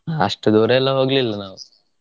ಅಷ್ಟು ದೂರಾ ಎಲ್ಲಾ ಹೋಗ್ಲಿಲ್ಲಾ ನಾವು.